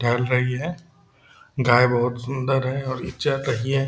टहल रही है गाय बहुत सुंदर है और चर रही है।